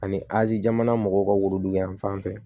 Ani azi jamana mɔgɔw ka worodugu yan fan fɛ